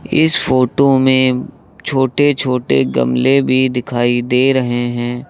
इस फोटो में छोटे छोटे गमले भी दिखाई दे रहे हैं।